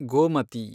Gomati